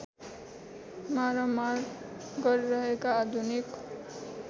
मारामार गरिरहेका आधुनिक